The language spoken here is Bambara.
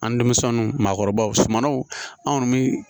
An denmisɛnninw maakɔrɔbaw sumanw an kɔni bɛ